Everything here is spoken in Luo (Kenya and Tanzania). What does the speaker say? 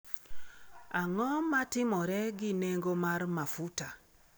Ang’o ma timore gi nengo mar mafuta?